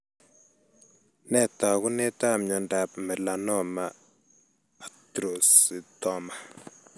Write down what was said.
Nee taakunetab myondap Melanoma actrocytoma?